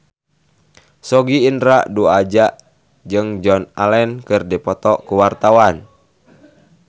Sogi Indra Duaja jeung Joan Allen keur dipoto ku wartawan